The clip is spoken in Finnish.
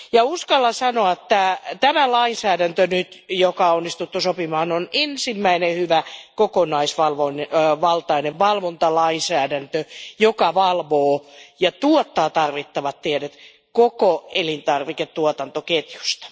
Uskallan sanoa, että tämä lainsäädäntö, joka on nyt onnistuttu sopimaan, on ensimmäinen hyvä, kokonaisvaltainen valvontalainsäädäntö, joka valvoo ja tuottaa tarvittavat tiedot koko elintarviketuotantoketjusta.